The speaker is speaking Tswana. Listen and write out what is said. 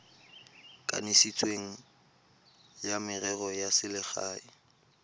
kanisitsweng wa merero ya selegae